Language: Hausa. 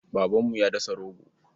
Babanmu ya dasa rogo.